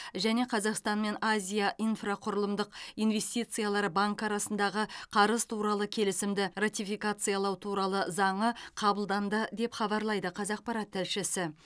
және қазақстан мен азия инфрақұрылымдық инвестициялар банкі арасындағы қарыз туралы келісімді ратификациялау туралы заңы қабылданды деп хабарлайды қазақпарат тілшісі